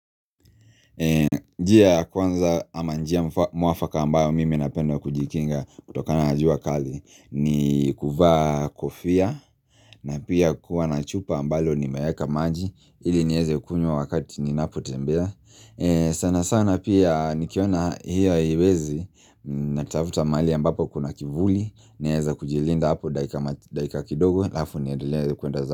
Njia ya kwanza ama njia mwafaka ambayo mimi napenda kujikinga kutokana na jua kali ni kuvaa kofia na pia kuwa na chupa ambalo nimeeka maji ili nieze kunywa wakati ninapotembea Sanasana pia nikiona hiyo haiwezi natafuta mahali ambapo kuna kivuli Naeza kujilinda hapo dakika kidogo halafu niendelee kuenda za.